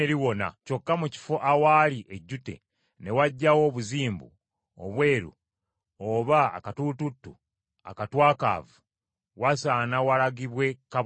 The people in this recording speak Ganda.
kyokka mu kifo awaali ejjute ne wajjawo obuzimbu obweru oba akatulututtu akatwakaavu, wasaana walagibwe kabona.